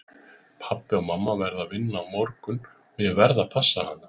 Pabbi og mamma verða að vinna á morgun og ég verð að passa hana.